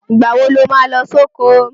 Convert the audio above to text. Ìgbà wo lo má lọ sóko?